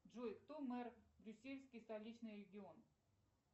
джой кто мэр брюссельский столичный регион